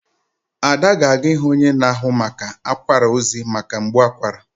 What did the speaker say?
Ada ga-aga ịhụ onye na-ahụ maka akwara ozi maka mgbu akwara.